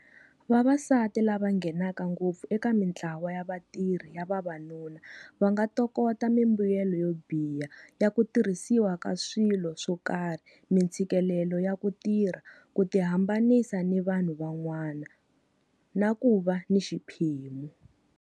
Vavasati lava nghenaka ngopfu eka mintlawa ya vatirhi ya vavanuna va nga tokota mimbuyelo yo biha ya ku tirhisiwa ka swilo swo karhi-mintshikilelo ya ku tirha, ku tihambanisa ni vanhu van'wana, na ku va ni xiphemu.